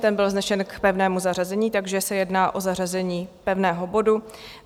Ten byl vznesen k pevnému zařazení, takže se jedná o zařazení pevného bodu.